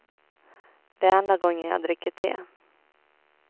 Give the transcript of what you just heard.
Det är enda gången jag dricker te.